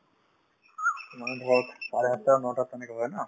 মানে ধৰক চাৰে আঠটা নটাত তেনেকে হয় ন